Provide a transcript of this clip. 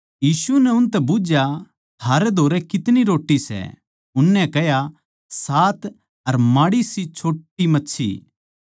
यीशु नै उनतै बुझ्झया थारै धोरै कितनी रोट्टी सै उननै कह्या सात अर माड़ीसी छोट्टी मच्छी